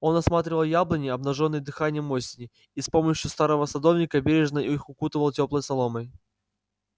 он осматривал яблони обнажённые дыханием осени и с помощью старого садовника бережно их укутывал тёплой соломой